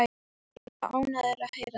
Þeir verða ánægðir að heyra það.